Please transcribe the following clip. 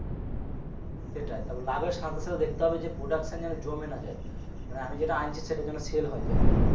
সেটাই তারপর লাভের সাথে সাথে দেখতে হবে যে production যেন জমে না যায় মানে আমি যেটা আনছি সেটা যেন sell হলে তবেই